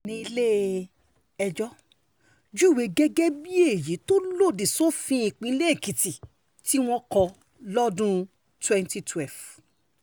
ẹ̀sùn yí ní ilé-ẹjọ́ júwe gẹ́gẹ́ bíi èyí tó lòdì sófin ìpínlẹ̀ èkìtì tí wọ́n kọ́ lọ́dún twenty twelve